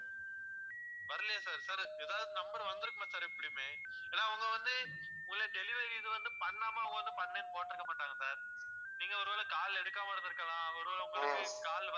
வரலையா sir sir ஏதாவது number வந்திருக்குமே sir எப்படியுமே, ஏன்னா அவங்க வந்து உங்க delivery இது வந்து பண்ணாம அவங்க வந்து பண்ணேன்னு போட்டிருக்கமாட்டாங்க sir நீங்க ஒருவேளை call எடுக்காம இருந்துருக்கலாம் ஒருவேளை உங்களுக்கு